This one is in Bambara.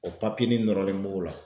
o ni nɔrɔlen b'o la.